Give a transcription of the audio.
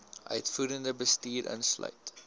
uitvoerende bestuur insluit